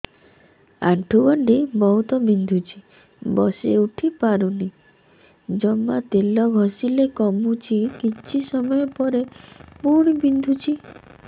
ଆଣ୍ଠୁଗଣ୍ଠି ବହୁତ ବିନ୍ଧୁଛି ବସିଉଠି ପାରୁନି ଜମା ତେଲ ଘଷିଲେ କମୁଛି କିଛି ସମୟ ପରେ ପୁଣି ବିନ୍ଧୁଛି